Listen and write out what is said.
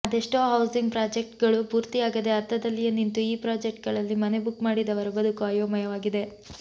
ಅದೆಷ್ಟೋ housing project ಗಳು ಪೂರ್ತಿಯಾಗದೇ ಅರ್ಧದಲ್ಲಿಯೇ ನಿಂತು ಈ ಪ್ರಾಜೆಕ್ಟ್ ಗಳಲ್ಲಿ ಮನೆ ಬುಕ್ ಮಾಡಿದವರ ಬದುಕು ಅಯೋಮಯವಾಗಿದೆ